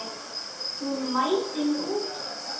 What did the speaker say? Hún mældi mig út.